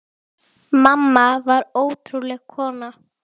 Högg það harmur er öllum.